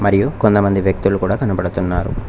మరియు కొంతమంది వ్యక్తులు కూడా కనబడుతున్నారు.